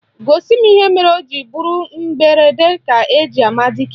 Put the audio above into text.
Gosi m ihe mere o ji bụrụ mberede ka eji ama dike